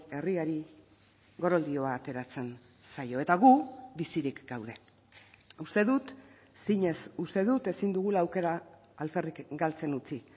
herriari goroldioa ateratzen zaio eta gu bizirik gaude uste dut zinez uste dut ezin dugula aukera alferrik galtzen utzi